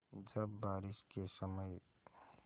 जब बारिश के समय